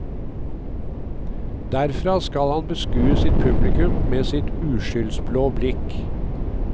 Derfra skal han beskue sitt publikum med sitt uskyldsblå blikk.